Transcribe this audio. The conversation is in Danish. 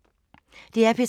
DR P3